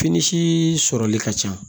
Fini sɔrɔli ka ca